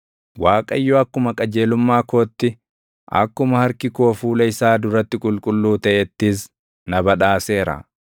Waaqayyo akkuma qajeelumma kootti, akkuma harki koo fuula isaa duratti qulqulluu taʼettis na badhaaseera.